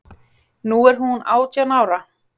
Nú er hún átján ára.